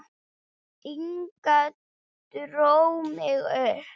Inga dró mig upp.